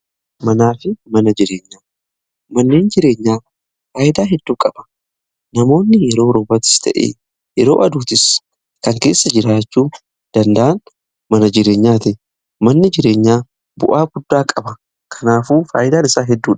Manaa fi mana jireenya, manneen jireenyaa faayidaa hedduu qaba. Namoonni yeroo roobatatis ta'ee yeroo aduuttis kan keessa jiraachuu danda'an mana jireenyaati. Manni jireenyaa bu'aa guddaa qaba kanaafuu faayidaan isaa hedduudha.